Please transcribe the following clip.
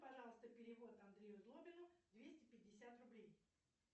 пожалуйста перевод андрею злобину двести пятьдесят рублей